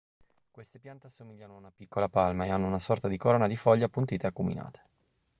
queste piante assomigliano a una piccola palma e hanno una sorta di corona di foglie appuntite e acuminate